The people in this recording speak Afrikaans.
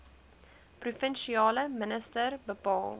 provinsiale minister bepaal